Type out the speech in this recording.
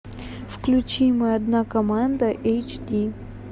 включи мы одна команда эйч ди